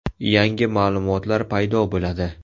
Yangi ma’lumotlar paydo bo‘ladi.